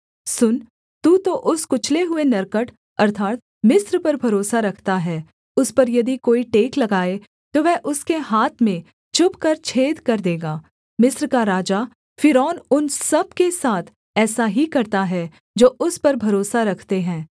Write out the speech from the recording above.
सुन तू तो उस कुचले हुए नरकट अर्थात् मिस्र पर भरोसा रखता है उस पर यदि कोई टेक लगाए तो वह उसके हाथ में चुभकर छेद कर देगा मिस्र का राजा फ़िरौन उन सब के साथ ऐसा ही करता है जो उस पर भरोसा रखते हैं